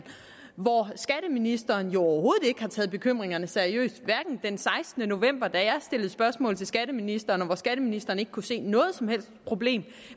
hvor skatteministeren jo overhovedet ikke har taget bekymringerne seriøst heller den sekstende november da jeg stillede spørgsmål til skatteministeren og skatteministeren ikke kunne se noget som helst problem